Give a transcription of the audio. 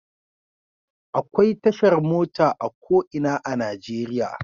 Akwai tashar mota a ko ina a Najeriya.